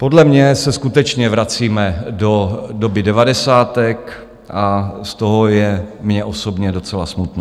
Podle mě se skutečně vracíme do doby devadesátek a z toho je mně osobně docela smutno.